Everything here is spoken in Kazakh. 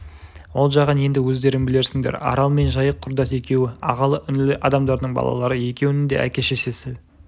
ол жағын енді өздерің білерсіңдер арал мен жайық құрдас екеуі ағалы-інілі адамдардың балалары екеуінің де әке-шешесі